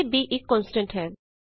ਇਥੇ b ਇਕ constant ਹੈ